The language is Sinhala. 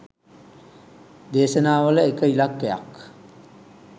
දේශනාවල එක ඉලක්කයක්.